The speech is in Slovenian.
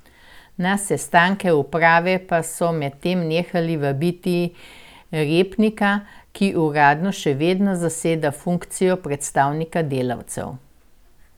Na sestanke uprave pa so medtem nehali vabiti Repnika, ki uradno še vedno zaseda funkcijo predstavnika delavcev.